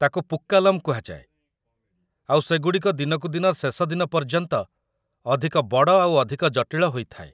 ତାକୁ ପୂକ୍କାଲମ୍ କୁହାଯାଏ, ଆଉ ସେଗୁଡ଼ିକ ଦିନକୁ ଦିନ ଶେଷ ଦିନ ପର୍ଯ୍ୟନ୍ତ ଅଧିକ ବଡ଼ ଆଉ ଅଧିକ ଜଟିଳ ହୋଇଥାଏ ।